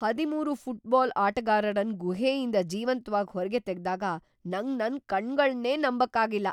ಹದಿಮೂರು ಫುಟ್ಬಾಲ್ ಆಟಗಾರರನ್ ಗುಹೆಯಿಂದ್ ಜೀವಂತ್ವಾಗಿ ಹೊರ್ಗೆ ತೆಗ್ದಾಗ ನಂಗ್ ನನ್ ಕಣ್ಣುಗಳನ್ನೇ ನಂಬಕ್ ಆಗಿಲ್ಲ.